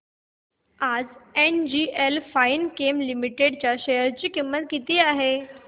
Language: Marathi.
आज एनजीएल फाइनकेम लिमिटेड च्या शेअर ची किंमत किती आहे